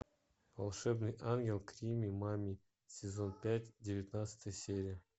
волшебный ангел крими мами сезон пять девятнадцатая серия